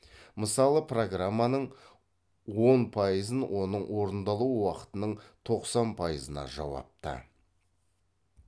мысалы программаның он пайызын оның орындалу уақытының тоқсан пайызына жауапты